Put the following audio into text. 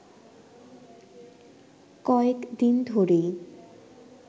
কয়েকদিন ধরেই